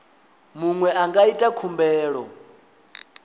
muṅwe a nga ita khumbelo